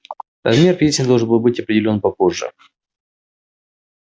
размер пенсии должен был быть определён попозже